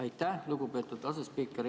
Aitäh, lugupeetud asespiiker!